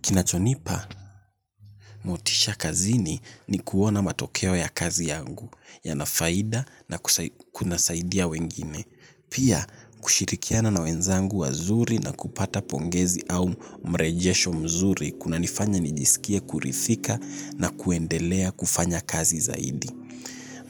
Kinachonipa, motisha kazini ni kuona matokeo ya kazi yangu, yana faida na kunasaidia wengine. Pia, kushirikiana na wenzangu wazuri na kupata pongezi au mrejesho mzuri, kunanifanya nijisikie kuridhika na kuendelea kufanya kazi zaidi.